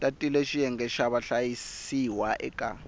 tatile xiyenge xa vahlayisiwa eka